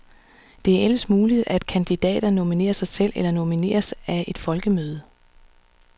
Det er ellers muligt, at kandidater nominerer sig selv eller nomineres af et folkemøde.